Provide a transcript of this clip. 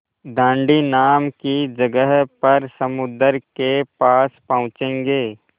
दाँडी नाम की जगह पर समुद्र के पास पहुँचेंगे